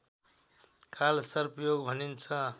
कालसर्प योग भनिन्छ